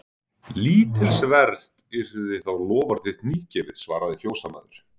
Lítilsvert yrði þá loforð þitt nýgefið, svaraði fjósamaður.